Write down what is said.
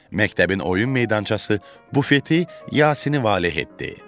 Məktəbin oyun meydançası, bufeti Yasini valeh etdi.